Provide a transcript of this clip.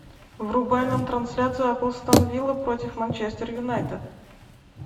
врубай нам трансляцию апл астон вилла против манчестер юнайтед